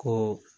Ko